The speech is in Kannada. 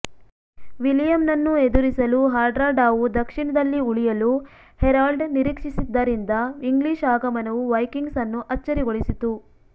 ವಿಲಿಯಂನನ್ನು ಎದುರಿಸಲು ಹಾರ್ಡ್ರಾಡಾವು ದಕ್ಷಿಣದಲ್ಲಿ ಉಳಿಯಲು ಹೆರಾಲ್ಡ್ ನಿರೀಕ್ಷಿಸಿದ್ದರಿಂದ ಇಂಗ್ಲಿಷ್ ಆಗಮನವು ವೈಕಿಂಗ್ಸ್ ಅನ್ನು ಅಚ್ಚರಿಗೊಳಿಸಿತು